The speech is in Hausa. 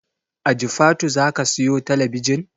A jifatu zaka siyo talabijin?